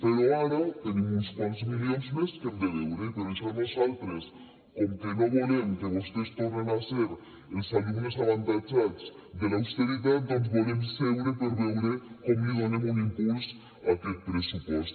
però ara tenim uns quants milions més que hem de veure i per això nosaltres com que no volem que vostès tornin a ser els alumnes avantatjats de l’austeritat volem seure per veure com li donem un impuls a aquest pressupost